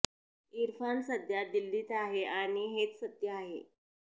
इरफान सध्या दिल्लीत आहे आणि हेच सत्य आहे